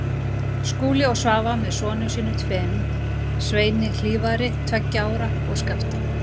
Skúli og Svava með sonum sínum tveim, Sveini Hlífari, tveggja ára, og Skafta